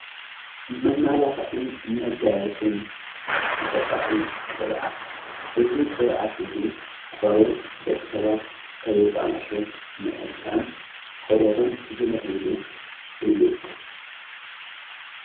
መማላኽዕን መጋየጽን ተፈጥራኣዊ ቕብኣት እዙ ቕብኣት እዙ ቖርበት ደቂ ሰባት ከይባላሸ ምእንታን ቖርበቶም ዝልከየሉ እዩ።